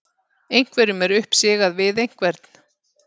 Einhverjum er uppsigað við einhvern